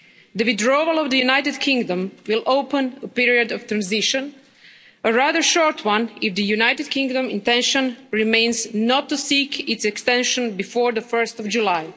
The withdrawal of the United Kingdom will open a period of transition a rather short one, if the United Kingdom's intention remains not to seek its extension before 1 July.